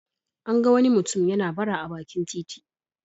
An ga wani mutum yana bara a bakin titi.